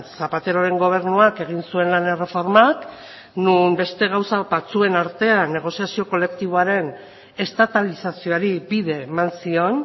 zapateroren gobernuak egin zuen lan erreformak non beste gauza batzuen artean negoziazio kolektiboaren estatalizazioari bide eman zion